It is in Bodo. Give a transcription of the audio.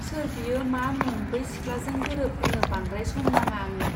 सोर बियो मा मुं बै सिख्लाजों गोरोबहोनो बांद्राय सम नाङा आंनो.